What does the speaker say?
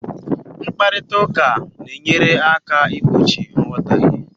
Mkparịta ụka na-enyere aka igbochi nghọtahie